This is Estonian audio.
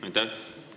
Aitäh!